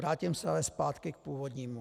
Vrátím se ale zpátky k původnímu.